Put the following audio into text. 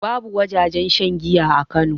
Babu wajajen shan giya a kano